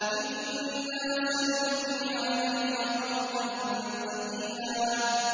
إِنَّا سَنُلْقِي عَلَيْكَ قَوْلًا ثَقِيلًا